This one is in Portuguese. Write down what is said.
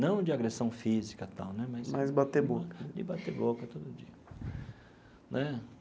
Não de agressão física e tal né, mas. Mas bater boca. De bater boca todo dia né.